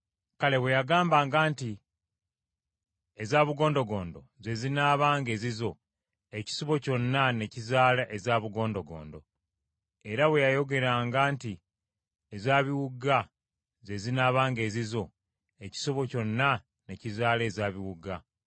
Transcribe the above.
Kale bwe yagambanga nti, ‘Eza bugondogondo ze zinaabanga ezizo ekisibo kyonna ne kizaala eza bugondogondo, era bwe yayogeranga nti eza biwuuga ze zinaabanga ezizo ekisibo kyonna ne kizaala eza biwuuga.’